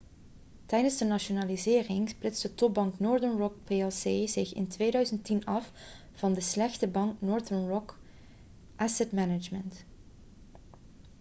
tijdens de nationalisering splitste topbank northern rock plc zich in 2010 af van de 'slechte bank' northern rock asset management